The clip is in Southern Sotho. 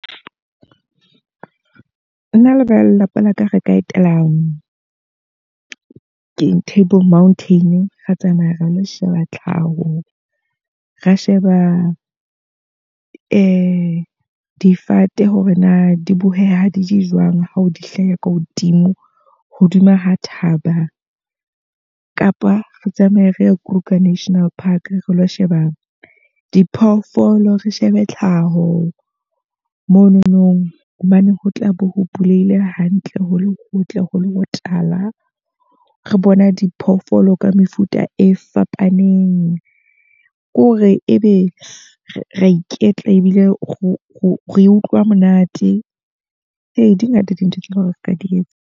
Nna le ba lelapa la ka re ka etela keng Table Mountain. Ra tsamaya ra lo sheba tlhaho, ra sheba difate hore na di boheha di jwang ha o di hlaha ka hodimo hodima ho thaba. Kapa re tsamaye re ye Kruger National Park, re lo sheba diphoofolo, re shebe tlhaho mono nong. Hobane ho tlabe ho bulehile hantle, ho le hotle, ho le ho tala. Re bona diphoofolo ka mefuta e fapaneng. Ke hore e be re a iketla ebile re utlwa monate. Ee, di ngata dintho tseo re ka di etsa.